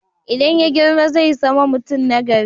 Idan ya girma zai sama mutum na gari